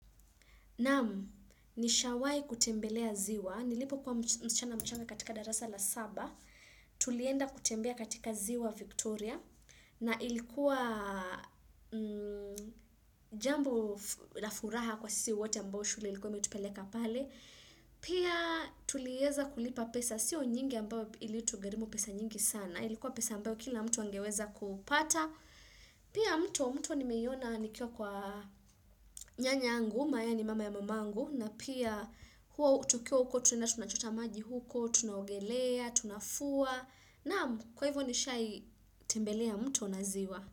Naan, nishawahi kutembelea ziwa, nilipokua mschana mchanga katika darasa la saba, tulienda kutembea katika ziwa Victoria, na ilikuwa jambo la furaha kwa sisi wote ambao shule ilikuwa imetupeleka pale, pia tuliweza kulipa pesa, siyo nyingi ambao ili utugharimu pesa nyingi sana, ilikuwa pesa ambao kila mtu wangeweza kupata, Pia mto, mto nimeiona nikiwa kwa nyanya angu, ambaye ni mama ya mamangu na pia huwa, tukiwa huko tunaenda tunachota maji huko, tunaugelea, tunafua Naam kwa hivyo nishawahi tembelea mta na ziwa.